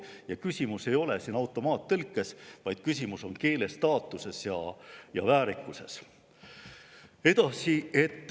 Ja küsimus ei ole siin automaattõlkes, vaid küsimus on keele staatuses ja väärikuses.